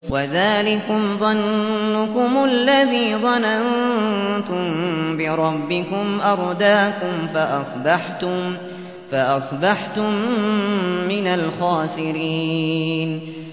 وَذَٰلِكُمْ ظَنُّكُمُ الَّذِي ظَنَنتُم بِرَبِّكُمْ أَرْدَاكُمْ فَأَصْبَحْتُم مِّنَ الْخَاسِرِينَ